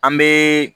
An bɛ